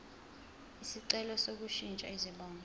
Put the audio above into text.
isicelo sokushintsha izibongo